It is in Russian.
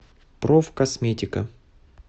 профкосметика